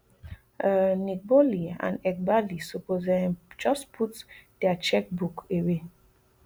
um nick boehly and eghbali suppose um just put dia cheque book away